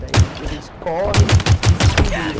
Daí a gente corre e se pendura.